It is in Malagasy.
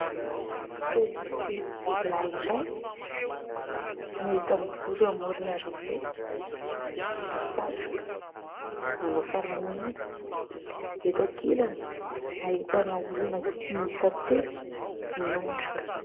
Pôlisy lahy iray no hita mijoro eo amoron'ny arabe, manao satroka, manao fanamiana. Eto ankilany, ahitana olona telo miondrika.